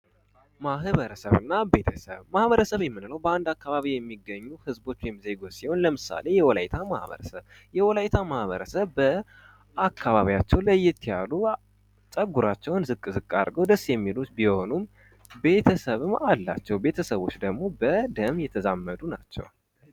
ማህበረሰብ እና ቤተሰብ ማህበረሰብ የምንለው በአንድ አካባቢ የሚኖር ህዝቦች ወይም ዜጎች ሲሆን ለምሳሌ፦ የወላይታ ማህበረሰብ የወላይታ ማህበረሰብ በአካባቢያቸው ለየት ያሉ ፀጉራቸውን ዝቅ ዝቅ አድርገው ደስ የሚሉ ቢሆኑም ቤተሰብም አላቸው። ቤተሰቦች ደግሞ በደም የተዛመዱ ናቸው።